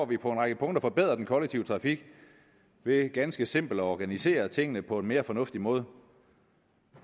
vi på en række punkter forbedret den kollektive trafik ved ganske simpelt at organisere tingene på en mere fornuftig måde